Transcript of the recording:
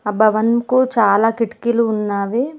భవన్ కు చాలా కిటికీలు ఉన్నావి.